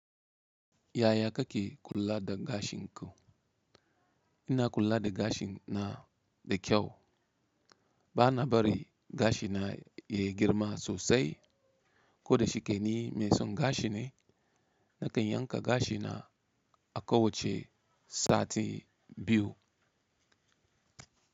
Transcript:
Yaya kake kula da gashin ka? Ina kula da gashi na da kyau. Bana barin gashina ya girma sosai ko da shike ni mai son gashi ne. Nakan yanka gashina a kowacce sati biyu.